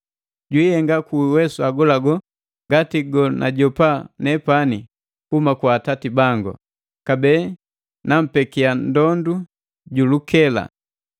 Jwiihenga ku uwesu agolago ngati gonajopa nepani kuhuma kwa Atati bangu. Kabee nampekia ndondu ju lukela.